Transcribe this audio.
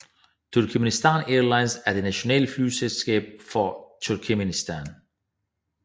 Turkmenistan Airlines er det nationale flyselskab fra Turkmenistan